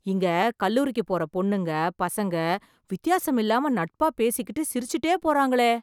இங்க கல்லூரிக்கு போற பொண்ணுங்க, பசங்க, வித்யாசமில்லாம நட்பா பேசிகிட்டு, சிரிச்சுட்டே போறாங்களே..